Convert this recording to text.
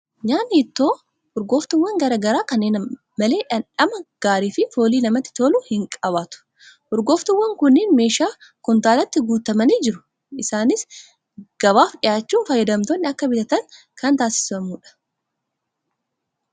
Nyaatni ittoo urgooftuuwwan garaa garaa kanneen malee dhamdhama gaarii fi foolii namatti tolu hin qabaatu. Urgooftuuwwan kunneen keeshaa kuntaalaatti guutamanii jiru. Isaanis gabaaf dhiyaachuun fayyadamtoonni akka bitatan kan taasifamu dha.